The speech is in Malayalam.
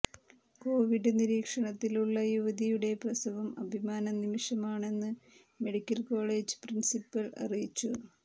കോവിഡ് നിരീക്ഷണത്തിലുള്ള യുവതിയുടെ പ്രസവം അഭിമാന നിമിഷമാണെന്ന് മെഡിക്കൽ കോളേജ് പ്രിൻസിപ്പൽ അറിയിച്ചു